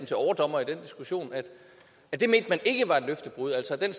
til overdommer i den diskussion at det mente man ikke var et løftebrud altså den